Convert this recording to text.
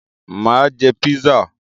Mà á jẹ písà.